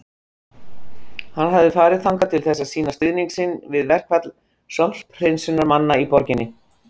Hann hafði farið þangað til þess að sýna stuðning sinn við verkfall sorphreinsunarmanna í borginni.